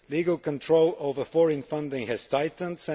Legal control over foreign funding has tightened